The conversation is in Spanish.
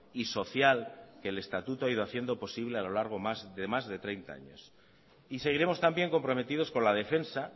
y social que el estatuto ha ido haciendo posible a lo largo de más de treinta años seguiremos también comprometidos con la defensa